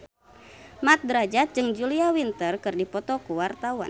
Mat Drajat jeung Julia Winter keur dipoto ku wartawan